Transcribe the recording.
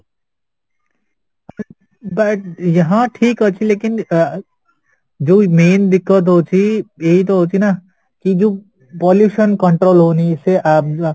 but ଠିକ ଅଛି ଯୋଉ main ଦୁଖ ହୋଉଛି ଇଏତ ହଉଛିନା କିଯୋଉ pollution control ହଉନି ସେ ଅଂ